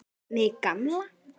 Mig gamla.